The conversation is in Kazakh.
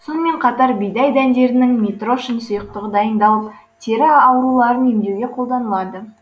сонымен қатар бидай дәндерінен митрошин сұйықтығы дайындалып тері ауруларын емдеуге қолданылады